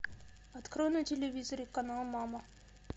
открой на телевизоре канал мама